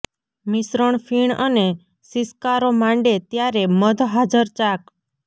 મિશ્રણ ફીણ અને સિસકારો માંડે ત્યારે મધ હાજર ચાક